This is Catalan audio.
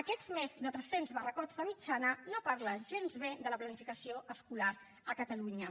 aquests més de tres cents barracons de mitjana no parlen gens bé de la planificació escolar a catalunya